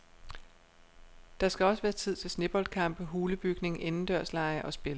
Der skal også være tid til sneboldkampe, hulebygning, indendørslege og spil.